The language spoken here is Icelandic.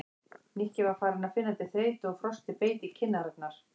Nikki var farinn að finna til þreytu og frostið beit í kinn- arnar.